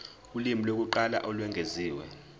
ulimi lokuqala olwengeziwe